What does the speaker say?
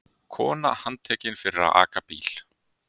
Kona handtekin fyrir að aka bíl